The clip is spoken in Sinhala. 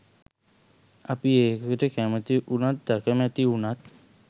අපි ඒකට කැමති උනත් අකමැති උනත්